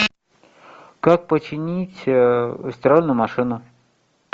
как починить стиральную машину